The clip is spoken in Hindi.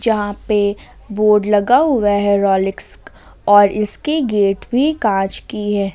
यहां पे बोर्ड लगा हुआ है रोलेक्स और इसकी गेट भी कांच की है।